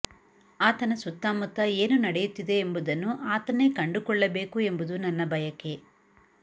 ಆತನ ಸುತ್ತಮುತ್ತ ಏನು ನಡೆಯುತ್ತಿದೆ ಎಂಬುದನ್ನು ಆತನೇ ಕಂಡುಕೊಳ್ಳಬೇಕು ಎಂಬುದು ನನ್ನ ಬಯಕೆ